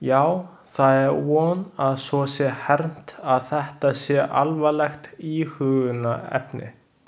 Já, það er von að svo sé hermt að þetta sé alvarlegt íhugunarefni.